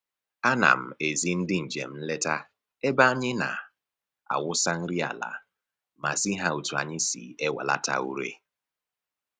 A na m ezi ndị njem nleta ebe anyị na-awụsa nri ala ma zi ha otu anyị si ewelata ure